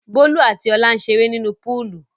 Bólú àti Ọlá ń ṣeré nínú púúlù.